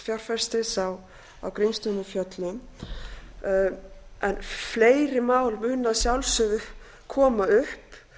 fjárfestis á grímsstöðum á fjöllum en fleiri mál munu að sjálfsögðu koma upp